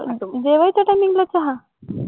जेवायच्या timing ला चहा